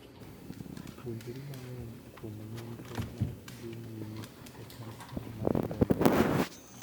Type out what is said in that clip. Puonjri mang'eny kuom nonro ma dhii nyime e kansa mar remo.